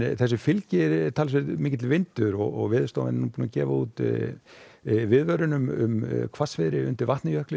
þessu fylgir talsverður vindur og Veðurstofa mun gefa út viðvörun um hvassviðri undir jökli